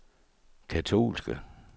katolske